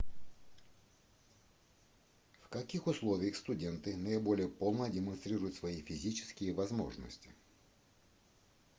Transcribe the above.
в каких условиях студенты наиболее полно демонстрируют свои физические возможности